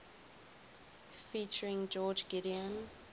featuring george gideon